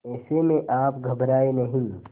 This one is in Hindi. ऐसे में आप घबराएं नहीं